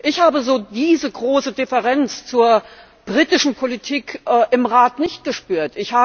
Ich habe diese große Differenz zur britischen Politik im Rat nicht gespürt.